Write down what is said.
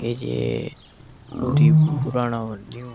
कि जी बहुत ही पुराना और न्यू --